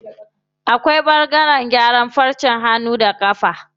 Akwai ɓangaren gyaran farcen hannu da ƙafa.